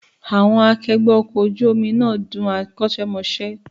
Àwọn akẹgbẹ́ ọkọ̀ ojú omi náà dún akọ́ṣẹ́mọṣẹ́